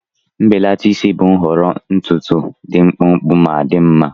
Mbelata isi bụ nhọrọ ntutu dị mkpụmkpụ ma dị mma.